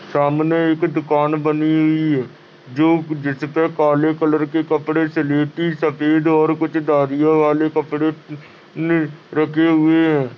सामने एक दुकान बनी हुई है। जो जिसपे काले कलर के कपड़े से लेके सफ़ेद और कुछ धरियो वाले कपड़े ले रखे हुए हैं।